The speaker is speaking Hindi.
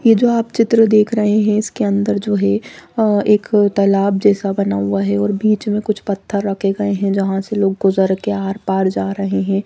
ये जो आप चित्र देख रहे है इसके अंदर जो है अ एक तलाब जैसा बना हुआ है और बीच में कुछ पत्थर रखे गये है जहां से लोग गुजर के आर-पार जा रहे हैं।